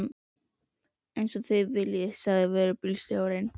Eins og þið viljið sagði vörubílstjórinn.